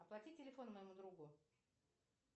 оплати телефон моему другу